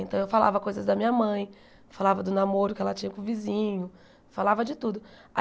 Então eu falava coisas da minha mãe, falava do namoro que ela tinha com o vizinho, falava de tudo.